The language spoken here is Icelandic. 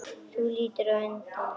Þú lítur undan.